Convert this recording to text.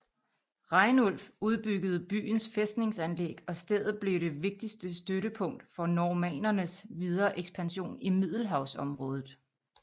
Rainulf udbyggede byens fæstningsanlæg og stedet blev det vigtigste støttepunkt for normannernes videre ekspansion i Middelhavsområdet